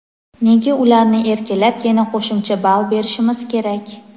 nega ularni erkalab yana qo‘shimcha ball berishimiz kerak?.